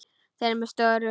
Þeir eru með störu.